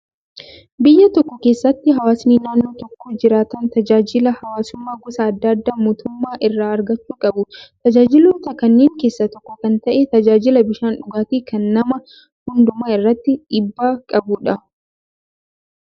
Biyya tokko keessatti hawaasni naannoo tokko jiraatan tajaajila hawaasummaa gosa adda addaa mootummaa irraa argachuu qabu. Tajaajiloota kanneen keessaa tokko kan ta'e tajaajila bishaan dhugaatii kan nama hundumaa irratti dhiibbaa qabudha